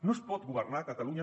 no es pot governar catalunya